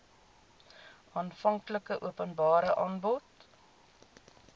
aanvanklike openbare aanbod